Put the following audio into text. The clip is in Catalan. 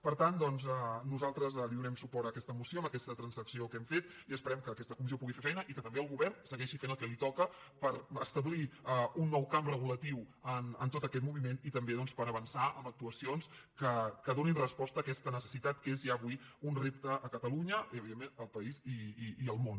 per tant doncs donem suport a aquesta moció amb aquesta transacció que hem fet i esperem que aques·ta comissió pugui fer feina i que també el govern se·gueixi fent el que li toca per establir un nou camp re·gulatiu en tot aquest moviment i també doncs per avançar amb actuacions que donin resposta a aquesta necessitat que és ja avui un repte a catalunya i evi·dentment al país i al món